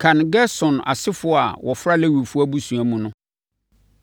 “Kan Gerson asefoɔ a wɔfra Lewifoɔ abusua mu no,